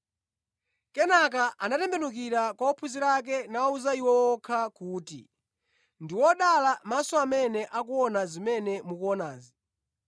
Kenaka anatembenukira kwa ophunzira ake nawawuza iwo okha kuti, “Ndi odala maso amene akuona zimene mukuonazi.